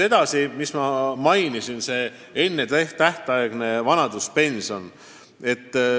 Ma juba rääkisin ennetähtaegsest vanaduspensionist.